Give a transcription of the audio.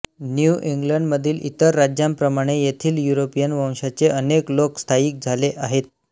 new इंग्लंडमधील इतर राज्यांप्रमाणे येथे युरोपियन वंशाचे अनेक लोक स्थायिक झाले आहेत